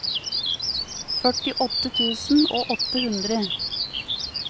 førtiåtte tusen og åtte hundre